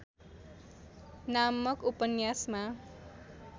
नामक ‍उपन्यासमा